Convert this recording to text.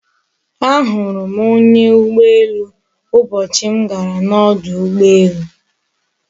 A hurum onya ugboelu ubochi m gara n'odu ugboelu